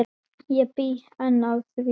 Ég bý enn að því.